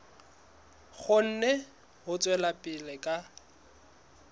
kgone ho tswela pele ka